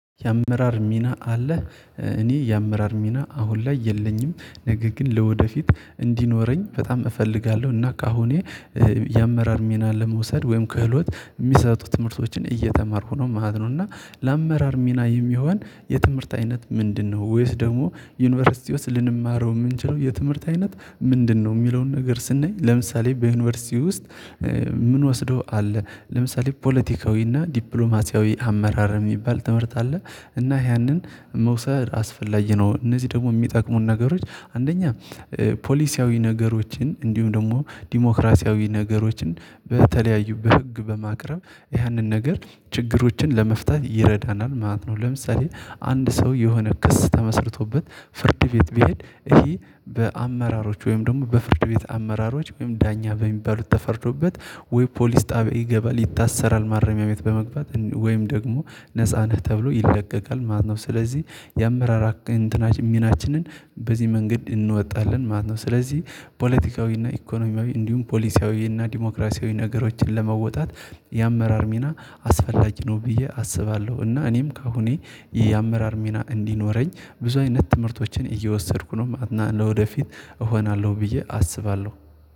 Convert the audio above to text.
የአመራር ሚና አለ እኔ የአመራር ሚና አሁን ላይ የለኝም። ነገር ግን ለወደፊት እንዲኖረኝ በጣም እፈልጋለሁ እና ካሁኔ የአመራር ሚና ለመውሰድ ወይም ክህሎት የሚሰጡ ትምህርቶችን እየተማርኩ ነው ማለት ነው። እና ለአመራር ሚና የሚሆን የትምህርት አይነት ምንድነው ወይስ ደግሞ ዩኒቨርሲቲ ውስጥ ልንማረው የምንችለው የትምህርት አይነት ምንድነው የሚለውን ነገር ስንይ ለምሳሌ በዩኒቨርሲቲ ውስጥ? ምንወስደው አለ ለምሳሌ ፖለቲካዊና ዲፕሎማሲያዊ አመራር የሚባል ትምህርት አለ። እና ያንን መውሰድ አስፈላጊ ነው እነዚህ ደግሞ የሚጠቅሙን ነገሮች አንደኛ ፖሊሲያዊ ነገሮችን እንዲሁም ደግሞ ዲሞክራሲያዊ ነገሮችን በተለያዩ በህግ በማቅረብ ያንን ነገር ችግሮችን ለመፍታት ይረዳናል ማለት ነው። ለምሳሌ አንድ ሰው የሆነ ክስ ተመስርቶበት ፍርድ ቤት ቢሄድ ይሄ በአመራሮች ወይም ደግሞ በፍርድ ቤት አመራሮች ወይም ዳኛ በሚባሉት ተፈርዶበት ወይ ፖሊስ ጣቢያ ይገባል ይታሰራል ማረሚያ ቤት በመግባት ወይም ደግሞ ነፃ ነህ ተብሎ ይለቀቃል ማለት ነው። ስለዚህ የአመራር እንትና ሚናችንን በዚህ መንገድ እንወጣለን ማለት ነው። ስለዚህ ፖለቲካዊና ኢኮኖሚያዊ እንዲሁም ፖሊሲያዊና ዲሞክራሲያዊ ነገሮችን ለመወጣት የአመራር ሚና አስፈላጊ ነው ብዬ አስባለሁ። እና እኔም ከአሁኔ የአመራር ሚና እንዲኖረኝ ብዙ አይነት ትምህርቶችን እየወሰድኩ ነው ማለት ለወደፊት እሆናለሁ ብዬ አስባለሁ